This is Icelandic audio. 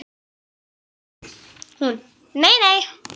Hún: Nei nei.